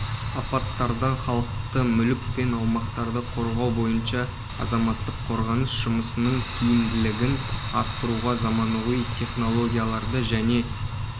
апаттардан халықты мүлік пен аумақтарды қорғау бойынша азаматтық қорғаныс жұмысының тиімділігін арттыруға заманауи технологияларды және